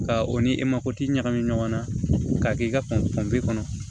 Ka o ni e mako tɛ ɲagami ɲɔgɔn na k'a kɛ i ka kɔnɔ